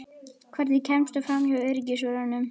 Hvernig kemstu framhjá öryggisvörðunum?